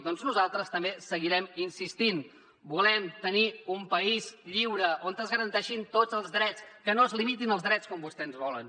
doncs nosaltres també seguirem insistint volem tenir un país lliure on es garanteixin tots els drets que no es limitin els drets com vostès volen